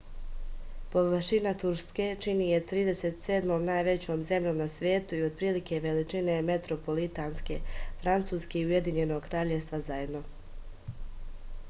površina turske čini je 37. najvećom zemljom na svetu i otprilike je veličine metropolitanske francuske i ujedinjenog kraljevstva zajedno